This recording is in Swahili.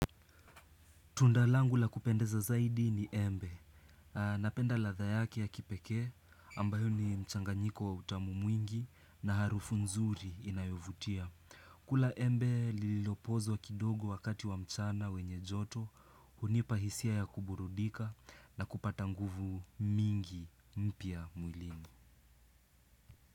Tunda langu la kupendeza zaidi ni embe. Napenda ladha yake ya kipekee ambayo ni mchanganyiko wa utamu mwingi na harufu nzuri inayovutia. Kula embe lililopozwa kidogo wakati wa mchana wenye joto, hunipa hisia ya kuburudika na kupata nguvu mingi mpya mwilini.